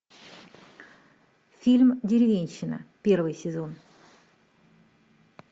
фильм деревенщина первый сезон